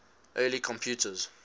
early computers